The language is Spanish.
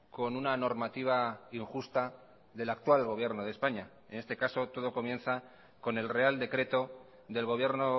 con una normativa injusta del actual gobierno de españa en este caso todo comienza con el real decreto del gobierno